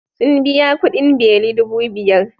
Sun biya kudin beli dubu biyar